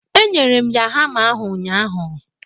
Enyere m ya hama ahụ ụnyaahụ